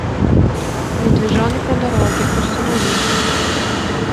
медвежонок на дороге установи